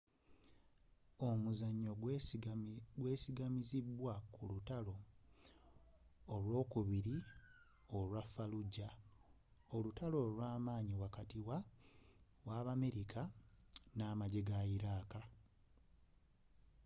omuzannyo gwesigamizibwa ku lutalo olwokubiri olwa fallujah olutalo olwamanyi wakati w'abamerika n'amajje ge iraq